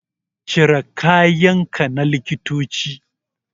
Cire kayan ka na likitoci